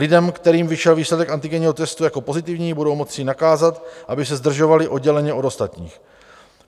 Lidem, kterým vyšel výsledek antigenního testu jako pozitivní, budou moci nakázat, aby se zdržovali odděleně od ostatních.